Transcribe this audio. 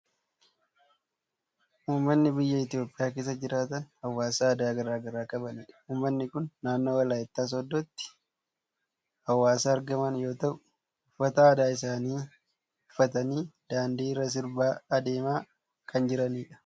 Uummanni biyya Itoophiyaa keessa jiraatan, hawaasa aadaa garaa garaa qabanidha. Uummatni kun naannoo Walaayittaa sooddootti hawaasa argaman yoo ta'u, uffata aadaa isaanii uffatanii daandii irra sirbaa adeemaa kan jirani dha.